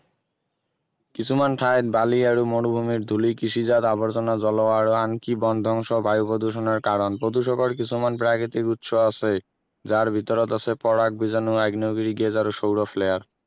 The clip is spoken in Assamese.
কিছুমান ঠাইৰ বালি আৰু মৰুভূমিৰ ধূলি কৃষিজাত আৱৰ্জনা জল আৰু আনকি বন ধ্বংস বায়ু প্ৰদূষণৰ কাৰণ প্ৰদূষকৰ কিছুমান প্ৰাকৃতিক উৎস আছেই যাৰ ভিতৰত আছে পৰাগ বীজাণু আগ্নে়গিৰী আৰু solar flare